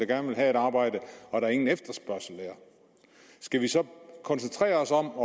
gerne vil have et arbejde og der ingen efterspørgsel er skal vi så koncentrere os om